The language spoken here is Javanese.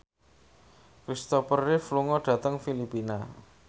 Christopher Reeve lunga dhateng Filipina